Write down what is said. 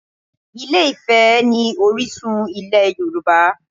Ilé-Ifẹ̀ ni orísun ilẹ̀ Yorùbá